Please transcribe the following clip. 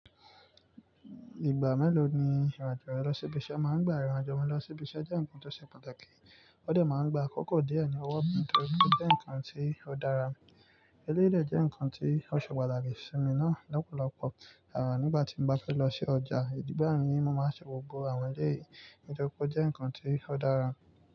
Ìgbà mélòó ni ìrìn-àjò rẹ lọ sí ibi iṣẹ́? Máa ń gba ìrìn-àjò mi lọ sí ibi iṣẹ́ jẹ́ ǹkan tó ṣe pàtàkì. Ó dẹ̀ máa ń gba àkókò díẹ̀ ní ọwọ́ mi torí ó jẹ́ ǹkan tí ó dára. Eleyii dẹ́ je ǹkan tí ó ṣe pàtàkì sí mi náà lọ́pọ̀lọpọ̀. À nígbà tí n bá fẹ́ lọ sí ọjà ìdíbà mí, mo máa n ṣe gbogbo àwọn eleyìí nítorí pé ó jẹ́ ǹnkan tí ó dára.